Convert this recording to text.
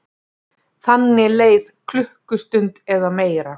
Þannig leið klukkustund eða meira.